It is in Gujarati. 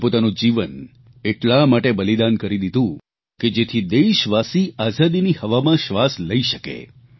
જેમણે પોતાનું જીવન એટલા માટે બલિદાન કરી દીધું કે જેથી દેશવાસી આઝાદીની હવામાં શ્વાસ લઇ શકે